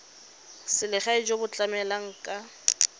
selegae jo bo tlamelang ka